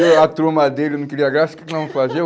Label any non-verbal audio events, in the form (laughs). (laughs) E a turma dele não queria graça, o que é que nós vamos fazer?